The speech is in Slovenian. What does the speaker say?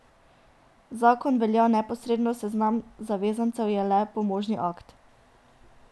Zakon velja neposredno, seznam zavezancev je le pomožni akt.